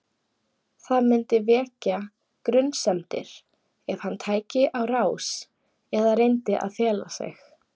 Það myndi vekja grunsemdir ef hann tæki á rás eða reyndi að fela sig.